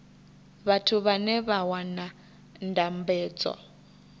vhathu vhane vha wana ndambedzo